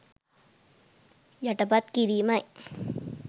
යටපත් කිරීමයි.